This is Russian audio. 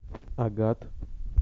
агат